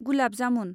gulab jamun